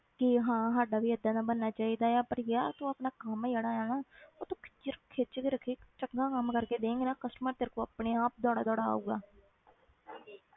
ਕਿ ਹਾਂ ਸਾਡਾ ਵੀ ਏਦਾਂ ਦਾ ਬਣਨਾ ਚਾਹੀਦਾ ਆ but ਯਾਰ ਤੂੰ ਆਪਣਾ ਕੰਮ ਜਿਹੜਾ ਹੈ ਨਾ ਉਹ ਤੂੰ ਖਿੱਚ ਰ~ ਖਿੱਚ ਕੇ ਰੱਖੀ ਚੰਗਾ ਕੰਮ ਕਰਕੇ ਦੇਵੇਂਗੀ ਨਾ customer ਤੇਰੇ ਕੋਲ ਆਪਣੇ ਆਪ ਦੌੜਾ ਦੌੜਾ ਆਊਗਾ